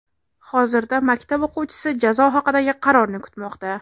Hozirda maktab o‘quvchisi jazo haqidagi qarorni kutmoqda.